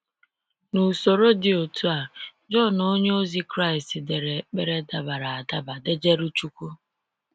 N'usoro dị otu a, John onye ozi Kraịst dere ekpere dabara adaba dejerụ chukwu.